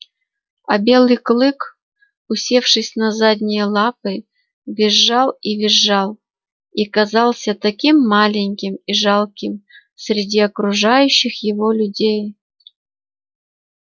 а белый клык усевшись на задние лапы визжал и визжал и казался таким маленьким и жалким среди окружающих его людей